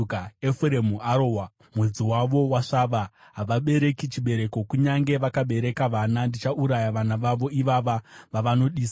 Efuremu arohwa, mudzi wavo wasvava, havabereki chibereko. Kunyange vakabereka vana, ndichauraya vana vavo ivava vavanodisa.”